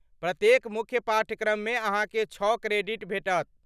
प्रत्येक मुख्य पाठ्यक्रममे अहाँके छौ क्रेडिट भेटत।